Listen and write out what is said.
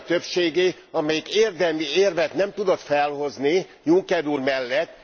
Ezé a többségé, amelyik érdemi érvet nem tudott felhozni Juncker úr mellett.